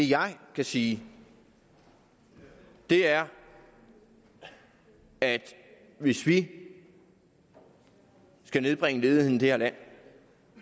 det jeg kan sige er at hvis vi skal nedbringe ledigheden i det her land